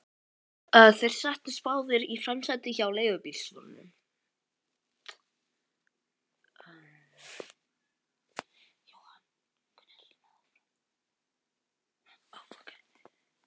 Þeir settust báðir í framsætið hjá leigubílstjóranum.